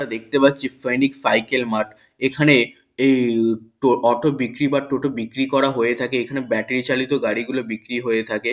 আমরা দেখতে পাচ্ছি একটা সৈনিক সাইকেল মার্ট এখানে অটো বিক্রি বা টোটো বিক্রি করা হয়ে থাকে এখানে ব্যাটারী চালিত গাড়িগুলি বিক্রি হয়ে থাকে।